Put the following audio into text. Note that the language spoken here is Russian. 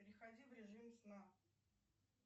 переходи в режим сна